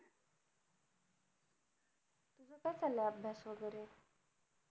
कस चालाय अभ्यास वैगेरे